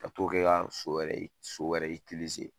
Ka t'o kɛ ka so wɛrɛ so wɛrɛ